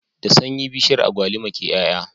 Da sanyi bishiyar agwalima ke y'ay'a